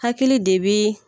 Hakili de be